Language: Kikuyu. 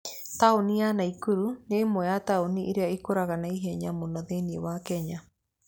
Taũni ya Naikuru nĩ ĩmwe ya taũni iria ikũraga na ihenya mũno thĩinĩ wa Kenya.